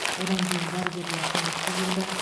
одан кейін дәрігерлер көмекке келді